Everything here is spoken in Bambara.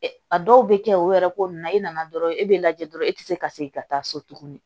A dɔw bɛ kɛ o yɛrɛ ko nunnu na e nana dɔrɔn e bɛ lajɛ dɔrɔn e tɛ se ka segin ka taa so tuguni